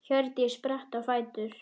Hjördís spratt á fætur.